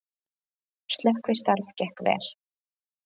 Slökkvistarf gekk vel